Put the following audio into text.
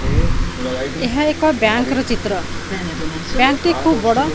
ଏହା ଏକ ବ୍ୟାଙ୍କ୍ ର ଚିତ୍ର ବ୍ୟାଙ୍କ୍ ଟି ଖୁବ୍ ବଡ଼।